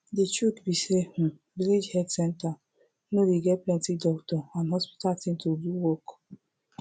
de truth be say um village health center no dey get plenti doctor and hospital thing to do work